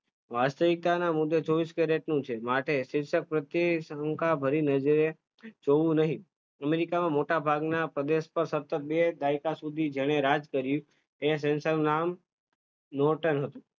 વાસ્તવિકતાના મુદ્દે ચોવીસ કેરેટનું છે, માટે શીર્ષક પ્રત્યે શંકા ભરી નજરે જોવું નહિ, અમેરિકામાં મોટા ભાગના પ્રદેશ પર સતત બે દાયકા સુધી જેણે રાજ કર્યું, તે નું નામ હતું.